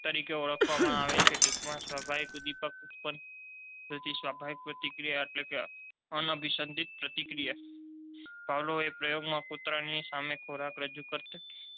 તરીકે ઓળખવામાં આવે છે. ટૂંકમા સ્વાભાવિક દીવથી ઉત્પન્ન થતી સ્વાભાવિક પ્રતિક્રિયા એટલે અનેઅભિપિત પ્રતિક્રિયા પાવળાવના પ્રયોગમાં તરાના સાથે ખોરાક રજૂ કરતા